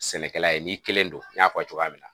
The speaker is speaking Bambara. Sɛnɛkɛla ye n'i kelen don n y'a fɔ a ye cogoya min na